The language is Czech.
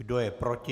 Kdo je proti?